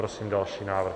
Prosím další návrh.